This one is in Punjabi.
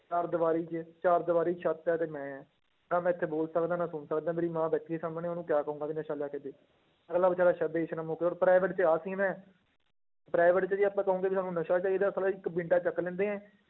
ਚਾਰ ਦੀਵਾਰੀ 'ਚ, ਚਾਰ ਦੀਵਾਰੀ ਛੱਤ ਆ ਤੇ ਮੈਂ ਹਾਂ, ਨਾ ਮੈਂ ਇੱਥੇ ਬੋਲ ਸਕਦਾਂ ਨਾ ਸੁਣ ਸਕਦਾਂ ਮੇਰੀ ਮਾਂ ਬੈਠੀ ਹੈ ਸਾਹਮਣੇ ਉਹਨੂੰ ਕਿਆ ਕਹਾਂਗੀ ਵੀ ਨਸ਼ਾ ਲਿਆ ਕੇ ਦੇ, ਅਗਲਾ ਬੇਚਾਰਾ ਹੁਣ private 'ਚ ਆਹ scene ਹੈ private 'ਚ ਜੇ ਆਪਾਂ ਕਹੋਗੇ ਵੀ ਸਾਨੂੰ ਚਾਹੀਦਾ ਇੱਕ ਡੰਡਾ ਚੁੱਕ ਲੈਂਦੇ ਹੈ,